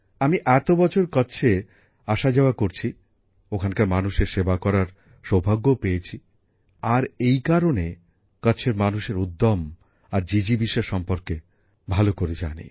আমি এত বছর কচ্ছে আসাযাওয়া করছি ওখানকার মানুষের সেবা করার সৌভাগ্যও পেয়েছি আমি আর এই কারণে কচ্ছের মানুষের উদ্যম আর প্রাণশক্তি সম্পর্কে ভালোই জানি